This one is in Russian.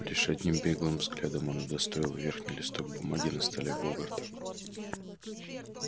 лишь одним беглым взглядом он удостоил верхний листок бумаги на столе богарта